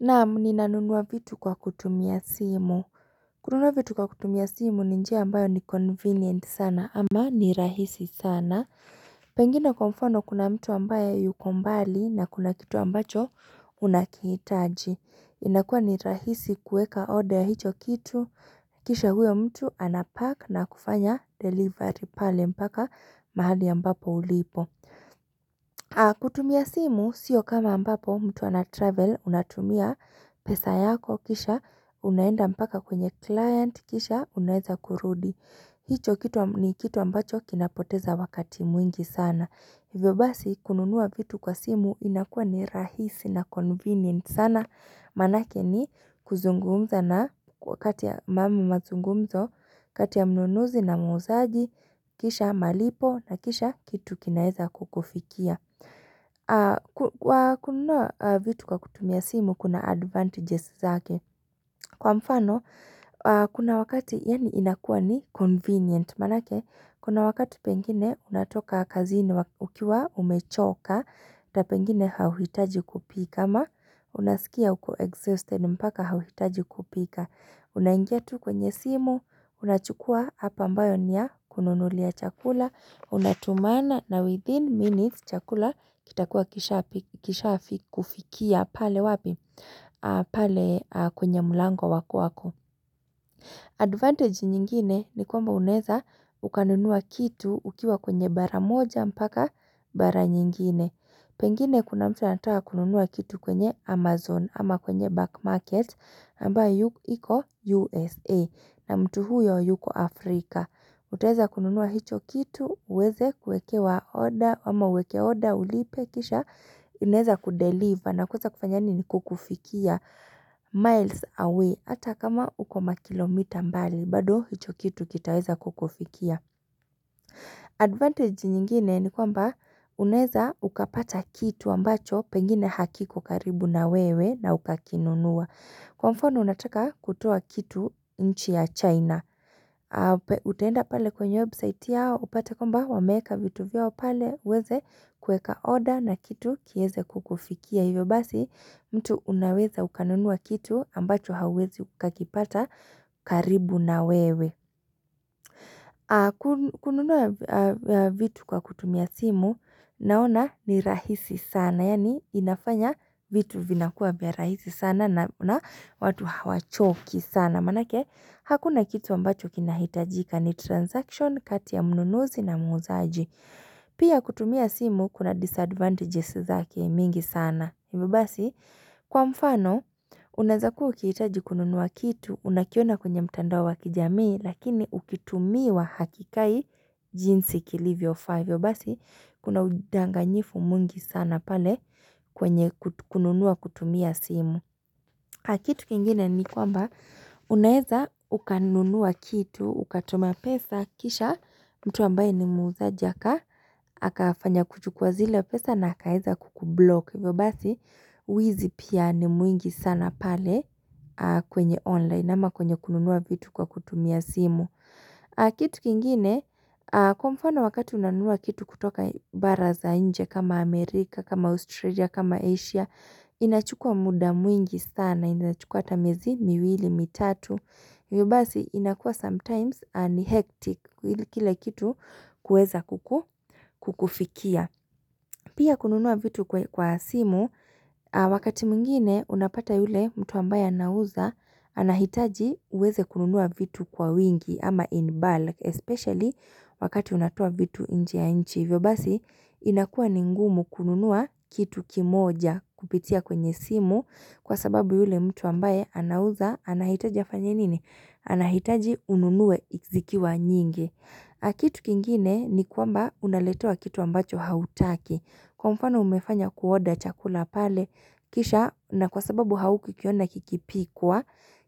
Naam, nina nunuwa vitu kwa kutumia simu. Kununua vitu kwa kutumia simu ni njia ambayo ni convenient sana ama ni rahisi sana. Pengine kwa mfano, kuna mtu ambaye yuko mbali na kuna kitu ambacho unakihitaji. Inakuwa ni rahisi kuweka order ya hicho kitu. Kisha huyo mtu anapack na kufanya delivery pale mpaka mahali ambapo ulipo. Kutumia simu sio kama ambapo mtu anatravel, unatumia pesa yako kisha Unaenda mpaka kwenye client kisha unaweza kurudi hicho kitu, ni kitu ambacho kinapoteza wakati mwingi sana. Hivyo basi kununua vitu kwa simu inakuwa ni rahisi na convenient sana, maanake ni kuzungumza na kwa wakati ya mambo mazungumzo, kati ya mnunuzi na muuzaji, Kisha malipo na kisha kitu kinaweza kukufikia. Kwa kununua vitu kwa kutumia simu kuna advantages zake. Kwa mfano, kuna wakati yaani inakuwa ni convenient, maanake, kuna wakati pengine unatoka kazini ukiwa umechoka, hata pengine hauhitaji kupika ama unasikia uko exhausted mpaka hauhitaji kupika. Unaingia tu kwenye simu, unachukuwa app ambayo ni ya kununulia chakula, unatumana na within minutes, chakula kitakuwa kishakufikia pale wapi? Pale kwenye mlango wa kwako. Advantage nyingine ni kwamba unaweza ukanunua kitu ukiwa kwenye bara moja mpaka bara nyingine. Pengine kuna mtu anataka kununua kitu kwenye Amazon ama kwenye back market, ambayo iko USA, na mtu huyo yuko Afrika. Utaweza kununua hicho kitu, uweze kuekewa order ama uweke order, ulipe kisha, inaweza kudeliver, na kuweza kufanya nini? Kukufikia miles away, hata kama uko makilomita mbali, bado hicho kitu kitaweza kukufikia. Advantage nyingine ni kwamba, unaweza ukapata kitu ambacho, pengine hakiko karibu na wewe na ukakinunua. Kwa mfano, unataka kutoa kitu nchi ya China, Utaenda pale kwenye website yao, upate kwamba wameeka vitu vyao pale, uweze kueka order na kitu kiweze kukufikia, hivyo basi mtu unaweza ukanunua kitu ambacho hauwezi ukakipata karibu na wewe. Kununua vitu kwa kutumia simu naona ni rahisi sana, yaani inafanya vitu vinakuwa vya rahisi sana na watu hawachoki sana, maanake hakuna kitu ambacho kinahitajika, ni transaction kati ya mnunuzi na muuzaji Pia kutumia simu kuna disadvantages zake mingi sana, hivyo basi Kwa mfano, unaweza kuwa ukihitaji kununua kitu, unakiona kwenye mtandao wa kijamii, lakini ukitumiwa hakikai jinsi kiliivyofaa, hivyo basi kuna udanganyifu mwingi sana pale kwenye kununua kutumia simu. Kitu kingine ni kwamba unaweza ukanunua kitu, ukatuma pesa, kisha mtu ambaye ni muuzajazi akafanya kuchukuwa zile pesa na akaeza kukublock. Hivyo basi, uwizi pia ni mwingi sana pale kwenye online, ama kwenye kununua vitu kwa kutumia simu. Kitu kingine, kwa mfano wakati unanua kitu kutoka bara za nje kama Amerika, kama Australia, kama Asia, inachukua muda mwingi sana, inawezachukuwa hata miezi miwili, mitatu. Hivyo basi inakuwa sometimes ni hectic kile kitu kuweza kukufikia Pia kununua vitu kwa simu, wakati mwingine unapata yule mtu ambaye anauza anahitaji uweze kununua vitu kwa wingi ama in bulk, especially wakati unatoa vitu nje ya nchi, hivyo basi inakua ni ngumu kununua kitu kimoja kupitia kwenye simu, kwa sababu yule mtu ambaye anauza, anahitaji afanye nini? Anahitaji ununue zikiwa nyingi. Kitu kingine ni kwamba unaletewa kitu ambacho hautaki. Kwa mfano umefanya kuorder chakula pale, kisha na kwa sababu haukukiona kikipikwa.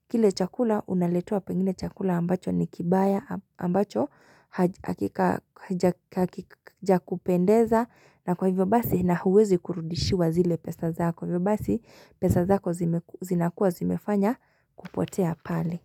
Kile chakula unaletewa pengine chakula ambacho ni kibaya ambacho hakijakupendeza na kwa hivyo basi na huwezi kurudishiwa zile pesa zako. Hivyo basi pesa zako zinakuwa zimefanya kupotea pale.